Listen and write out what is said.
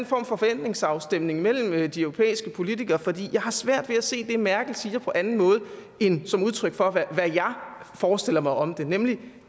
form for forventningsafstemning mellem de europæiske politikere for jeg har svært ved at se det merkel siger på anden måde end som udtryk for hvad jeg forestiller mig om det nemlig